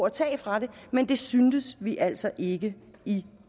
at tage fra dem men det synes vi altså ikke i